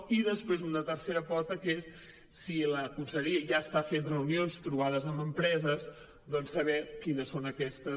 i després una tercera pota que és si la conselleria ja està fent reunions trobades amb empreses saber quines són aquestes